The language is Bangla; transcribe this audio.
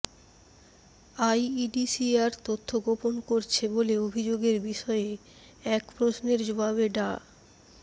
আইইডিসিআর তথ্য গোপন করছে বলে অভিযোগের বিষয়ে এক প্রশ্নের জবাবে ডা